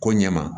Ko ɲɛ ma